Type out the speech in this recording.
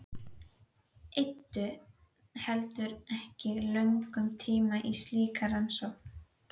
Eyddu heldur ekki löngum tíma í slíkar rannsóknir.